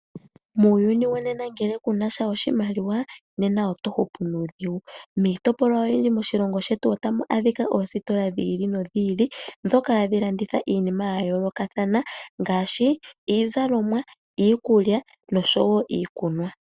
Muuyuni wonena ngele kunasha oshimaliwa nena oto hupu nuudhigu, miitopolwa oyindji moshilongo shetu otamu adhika oositola dhi ili nodhi ili ndhoka hadhi landitha iinima ya yoolokathana ngaashi iizalomwa, iikulya nosho wo iikunwa.